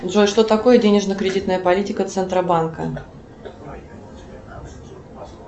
джой что такое денежно кредитная политика центробанка